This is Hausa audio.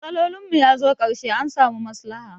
Matsolin mu ya zo karshe, an samu maslaha.